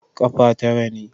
Ƙafa tara ne.